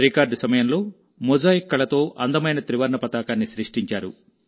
record సమయంలో mosaic కళతో అందమైన త్రివర్ణ పతాకాన్ని సృష్టించారు